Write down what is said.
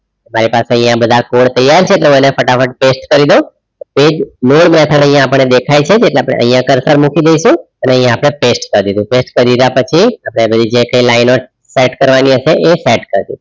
Right આ આપડે બધા code તૈયાર છે એટલે એને ફટાફટ paste કરિદેઉ એજ nod method આપણ ને દેખાય છે એટલે આપણે અહીંયા cursor મૂકી દેસુ અને અહિયાં આપણે paste કરિદેઉ paste કરી લીધા પછી આપણે જે કઈ લાયનો સેટ કરવાની હશે એ સેટ કરસુ